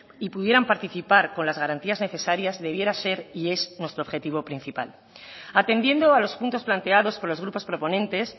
y pudieran participar con las garantías necesarias debiera ser y es nuestro objetivo principal atendiendo a los puntos planteados por los grupos proponentes